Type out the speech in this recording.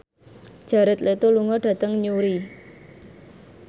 Jared Leto lunga dhateng Newry